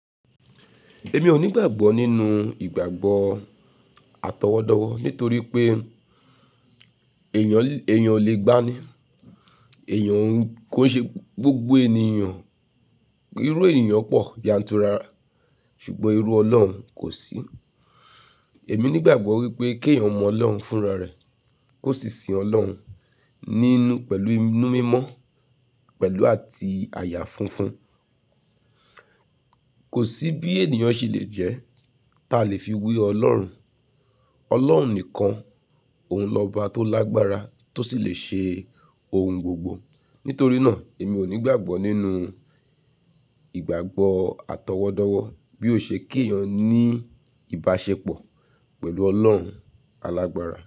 Èmi ò ní ìgbàgbọ́ nínú ìgbàgbọ́ atọwọ́dọ́wọ́ nítorí pé èèyàn o lè gbáa ní, èèyàn kò ṣe gbogbo ènìyàn, irú ènìyàn pọ̀ yantura, ṣùgbọ́n irú Ọlọ́run kò sí. Èmi ní ìgbàgbọ́ wípé kí èèyàn mọ Ọlọ́run fúnra rẹ̀, kó sì sin Ọlọ́run nínú pẹ̀lú inú mímọ́, pẹ̀lú àti àyà funfun. Kò sí bí ènìyàn ṣe le jẹ́ ta lè fi wí Ọlọ́run. Ọlọ́run nìkan, òun lọ́ba tó lágbára tó sì le ṣe ohun gbogbo. Nítorí náà èmi ò ní ìgbàgbọ́ nínú ìgbàgbọ́ atọwọ́dọ́wọ́ bí ó ṣe kí èèyàn ní ìbáṣepọ̀ pẹ̀lú Ọlọ́run alàgbára.